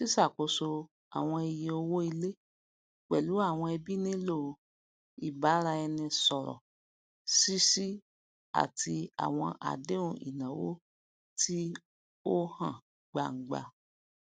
ṣíṣàkóso àwọn iye owó ilé pẹlú àwọn ẹbí nílò ìbáraẹnisọrọ ṣíṣí àti àwọn àdéhùn ináwó tí ó hàn gbangba